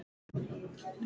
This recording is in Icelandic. Lífið er bara svona.